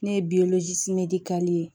Ne ye ye